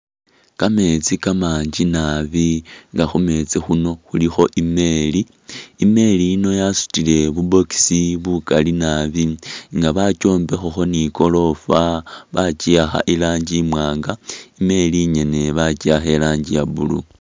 Kameetsi kamangi naabi nga khumeetsi khuno khulikho emeeli ,emeeli yino yasutile bu’box bukaali naabi nga bakyombekhakho ni gorofa , bakyiwakha iranji imwanga imeeli inyene bakyiwakha iranji iya blue.